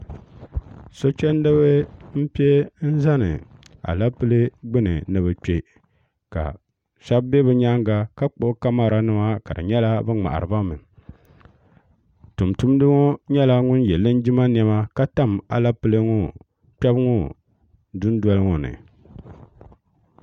so chɛndiba n piɛ n zani alɛpilɛ gbuni ni bi kpɛ ka shab bɛ bi nyaanga ka kpuɣi kamɛra nima ka di nyɛla bi ŋmahariba mi tumtumdi ŋo nyɛla ŋun yɛ linjima niɛma ka tam alɛpilɛ ŋo kpɛbu ŋo dundoli ŋo ni